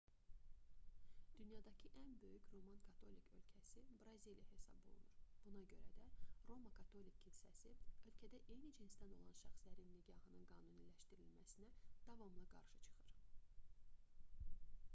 dünyadakı ən böyük roman katolik ölkəsi braziliya hesab olunur buna görə də roma katolik kilsəsi ölkədə eyni cinsdən olan şəxslərin nikahının qanuniləşdirilməsinə davamlı qarşı çıxır